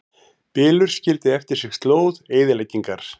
Bylurinn skildi eftir sig slóð eyðileggingar